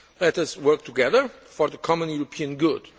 ahead. Let us work together for the common European